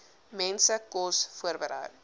mense kos voorberei